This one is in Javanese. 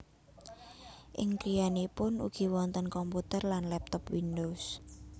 Ing griyanipun ugi wonten komputer lan laptop Windows